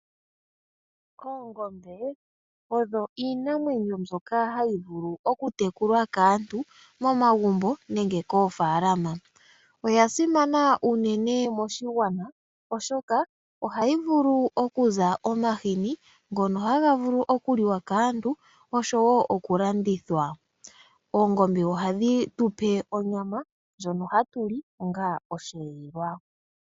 Oongombe odho iinamwenyo mbyoka hayi vulu okutekulwa kaantu momagumbo nenge koofaalama. Dho odha simana unene moshigwana oshoka ohadhi zi omahini ngoka haga vulu okuliwa kaantu osho wo okulandithwa. Oongombe ohadhi tu pe onyama ndjono hatu li onga osheelelwa